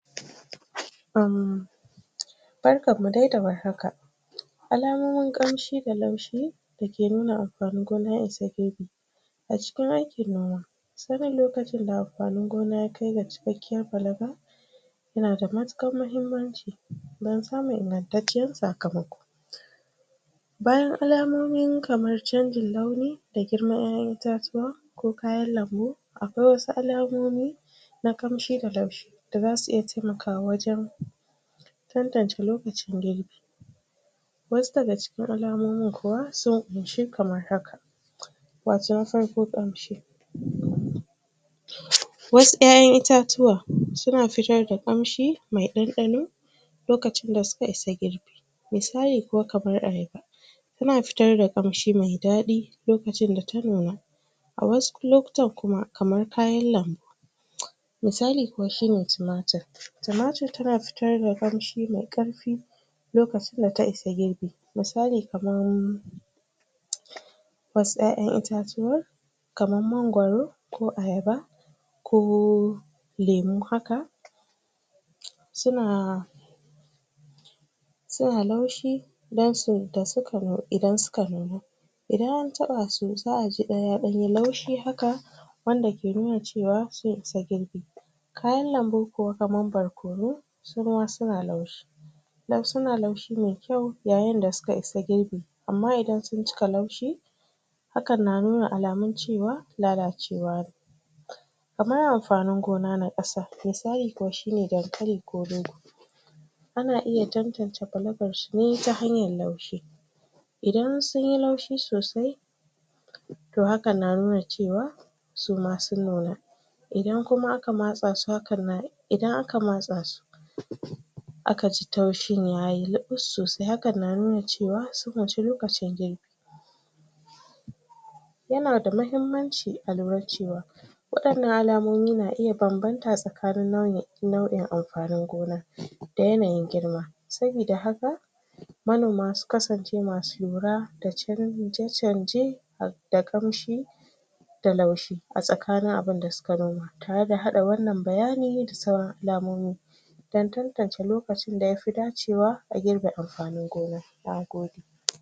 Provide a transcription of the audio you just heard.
Barkan mu dai da warhaka alamomin kamshi da laushi da ke nuna amfanin gona ya isa girbi a cikin aikin noma sanin lokacin da amfanin gona ya kai ga cikakiyan fallaka ya na da matukar mahimanci dan samun ingantaciyar sakamako bayan alamomin kamar chanjin launi da girman 'yayan itatuwa ko kayan lambo akwai wasu alamomi na kamshi da laushi da za su iya taimakawa wajen dandance lokacin girbi wasu da ga cikin alamomin kuwa, sun kunshi kamar haka wato na farko kamshi wasu 'yayan itatuwa suna fitar da kamshi mai dandano lokacin da suka isa girbi misali kuwa, kamar a haifa ta na fito da kamshi mai dadi lokacin da ta nunna a wasu lokutan kuma, kamar kayan lambu misali kuwa shi ne tomatur tomatur ta na fitar da kamshi mai karfi lokacin da ta isa girbi misali kamar wasu 'yayan itatatuwa kaman mangoro ko ayaba ko lemu haka su na su na laushi dan su, da suka, idan su ka nunu idan a taba su, za a ji dan, ya dan yi laushi haka wanda ke nuna cewa sun isa girbi kayan lambu kuwa kaman barkono su ma su na laushi dan su na laushi mai kyau, yayin da su ka isa girbi ama idan sun cika laushi hakan na nuna alamin cewa lalacewa ne kaman amfanin gona na qasa misali kuwa shi ne dankali ko rogo a na iya dandance fallakan shi ne, ta hanyar laushi idan sun yi laushi sosai toh, haka na nuna cewa suma sun nuna idan kuma a ka matsa su hakan nan idan a ka matsa su a ka ji taushin ya yi lubur sosai, hakan na nuna cewa, sun wuce lokacin girbi ya na da mahimanci a lura cewa wadannan alamomi na iya banbanta tsakanin nau'in nau'in amfanin gona da yanayin girma sabida haka manoma su kasance ma su lura da chanje chanje da kamshi da laushi a tsakanin abun da su ka noma tare da hada wannan bayani da sauran alamomi dan dandance lokacin da ya fi dacewa a girba amfanin gona na gode